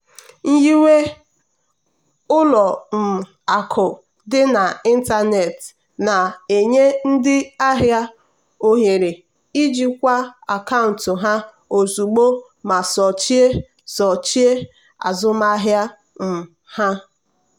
nyiwe ụlọ um akụ dị n'ịntanetị na-enye ndị ahịa ohere ijikwa akaụntụ ha ozugbo ma sochie sochie azụmahịa um ha.